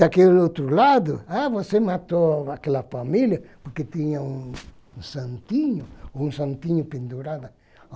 Daquele outro lado, ah, você matou aquela família porque tinha um um santinho, um santinho pendurado.